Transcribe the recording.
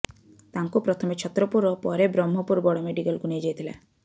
ତାଙ୍କୁ ପ୍ରଥମେ ଛତ୍ରପୁର ଓ ପରେ ବ୍ରହ୍ମପୁର ବଡ ମେଡିକାଲକୁ ନିଆଯାଇଥିଲା